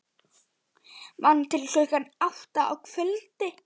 Vann til klukkan átta á kvöldin.